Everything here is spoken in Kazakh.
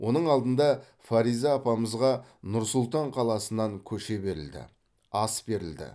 оның алдында фариза апамызға нұр сұлтан қаласынан көше берілді ас берілді